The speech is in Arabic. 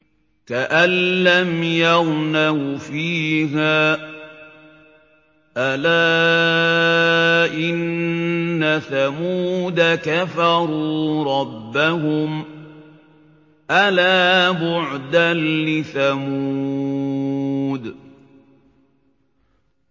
كَأَن لَّمْ يَغْنَوْا فِيهَا ۗ أَلَا إِنَّ ثَمُودَ كَفَرُوا رَبَّهُمْ ۗ أَلَا بُعْدًا لِّثَمُودَ